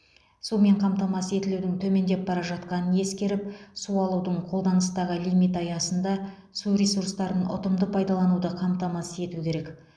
сумен қамтамасыз етілудің төмендеп бара жатқанын ескеріп су алудың қолданыстағы лимиті аясында су ресурстарын ұтымды пайдалануды қамтамасыз ету керек